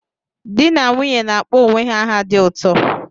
Di na nwunye na-akpọ onwe ha aha dị ụtọ